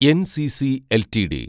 NCC LTD